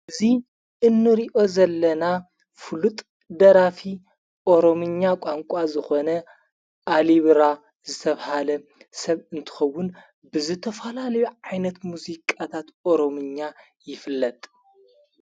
እዙይ እኖርዮ ዘለና ፍሉጥ ደራፊ ኦሮምኛ ቋንቋ ዝኾነ ኣሊብራ ዝተብሃለ ሰብ እንትኸውን ብዘተፈላ ልዩ ዓይነት ሙዙይ ቃታት ኦሮምኛ ይፍለጥ።